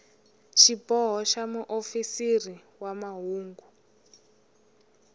xiboho xa muofisiri wa mahungu